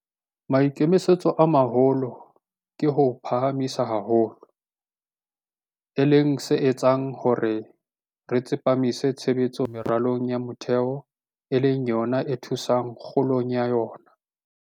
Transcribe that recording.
Maikemisetso a maholo ke ho o phahamisa haholo, e leng se etsang hore re tsepamise tshebetso meralong ya metheo e leng yona e thusang kgolong ya ona.